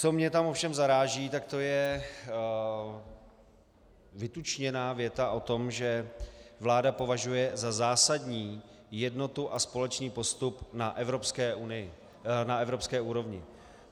Co mě tam ovšem zaráží, tak to je vytučněná věta o tom, že vláda považuje za zásadní jednotu a společný postup na evropské úrovni.